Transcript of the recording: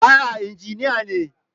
A'a injiniya ne.